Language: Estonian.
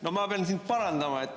No ma pean sind parandama.